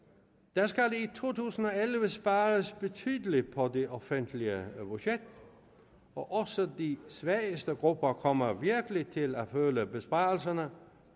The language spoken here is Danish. der skal i to tusind og elleve spares betydeligt på det offentlige budget og også de svageste grupper kommer virkelig til at føle besvarelserne